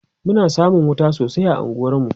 Muna samun wuta sosai a unguwar mu